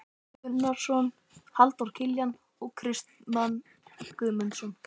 Gunnarsson, Halldór Kiljan og Kristmann Guðmundsson.